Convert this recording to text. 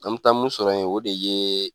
An mu taa mun sɔrɔ yen o de ye